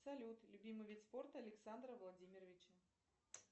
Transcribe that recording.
салют любимый вид спорта александра владимировича